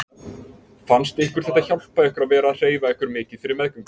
Fannst ykkur þetta hjálpa ykkur að vera að hreyfa ykkur mikið fyrir meðgöngu?